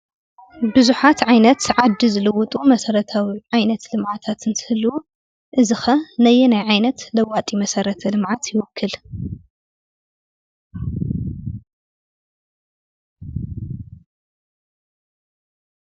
ብዙሓት ዓይነት ዓዲ ዝልውጡ ዓይነት መሰረታዊ ልምዓታት እንትህልው; እዚ ነየናይ ዓይነት ለዋጢ መሰረተ ልምዓት ይውክል?